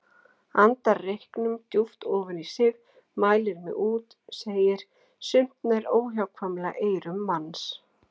Andar reyknum djúpt ofan í sig, mælir mig út, segir: Sumt nær óhjákvæmilega eyrum manns.